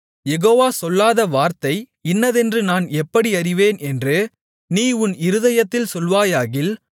யெகோவா சொல்லாத வார்த்தை இன்னதென்று நான் எப்படி அறிவேன் என்று நீ உன் இருதயத்தில் சொல்வாயாகில்